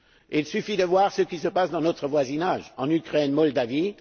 Il suffit de voir ce qui se passe dans notre voisinage, en Ukraine, en Moldavie.